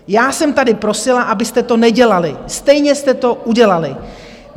Já jsem tady prosila, abyste to nedělali, stejně jste to udělali.